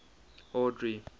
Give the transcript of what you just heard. audrey